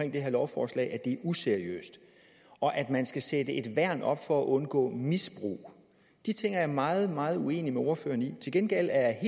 det her lovforslag at det er useriøst og at man skal sætte et værn op for at undgå misbrug de ting er jeg meget meget uenig med ordføreren i til gengæld er